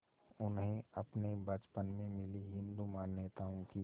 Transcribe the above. उन्हें अपने बचपन में मिली हिंदू मान्यताओं की